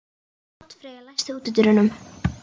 Oddfreyja, læstu útidyrunum.